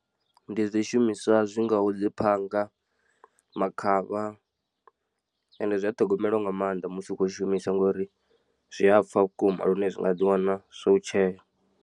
Ndi zwishumiswa zwi ngaho dzi phanga, makhavha ende zwi a ṱhogomelwa nga maanḓa musi u khou zwishumisa ngori zwi a pfha vhukuma lune zwi nga ḓiwana zwo u tshea.